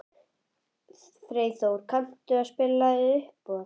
Freyþór, kanntu að spila lagið „Uppboð“?